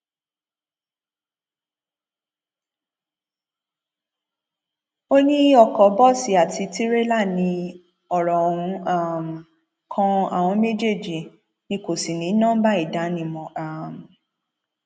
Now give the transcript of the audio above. ó ní oko bọọsì àti tìrẹlà ní ọrọ ohun um kan àwọn méjèèjì ni kò sì ní nọmba ìdánimọ um